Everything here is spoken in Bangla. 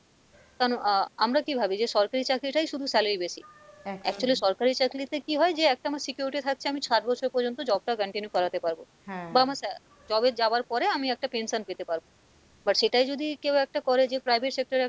কারণ আহ আমরা কী ভাবি যে সরকারি চাকরিটায় শুধু salary বেশি actually সরকারি চাকলি তে কী হয় যে একটা আমার security থাকছে আমি ষাট বছর প্রযন্ত job টা continue করাতে পারবো বা আমার job এ যাওয়ার পরে আমি একটা pension পেতে পারবো but সেটাই যদি কেও একটা করে যে private sector এ,